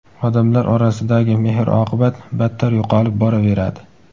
odamlar orasidagi mehr-oqibat battar yo‘qolib boraveradi.